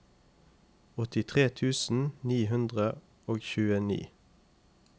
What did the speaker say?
åttitre tusen ni hundre og tjueni